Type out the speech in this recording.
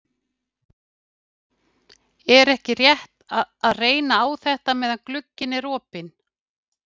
Er ekki rétt að láta reyna á þetta meðan glugginn er opinn?